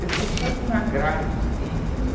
Ele falou, faz um agrado simples.